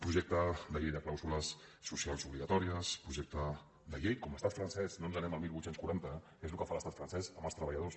projecte de llei de clàusules socials obligatòries projecte de llei com l’estat francès no ens anem al divuit quaranta que és el que fa l’estat francès amb els treballadors